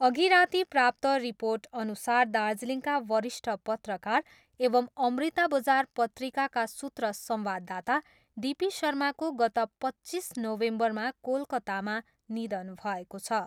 अघि राति प्राप्त रिर्पोटअनुसार दार्जिलिङका वरिष्ठ पत्रकार एवम् अमृता बजार पत्रिकाका सूत्र संवाददाता डिपी शर्माको गत पच्चिस नोभेम्बरमा कोलकातामा निधन भएको छ।